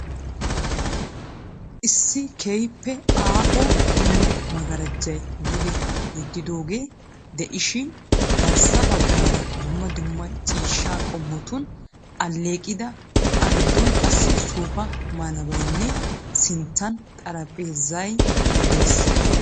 Issi keehiipe aaho bulla magaarajay duge yedidoogee de"ishshiin garssa bagaara dumma dumma ciishshaa qommotun aleeqida a gidoon qassi soofa malabaynne sinttan xaraphpheezay dees.